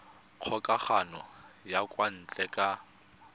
kgokagano ya kwa ntle ka